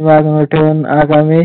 बाजूला ठेऊन आगामी